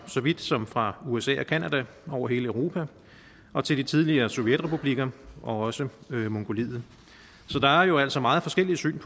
så vidt som fra usa og canada over hele europa og til de tidligere sovjetrepublikker og også mongoliet så der er jo altså meget forskellige syn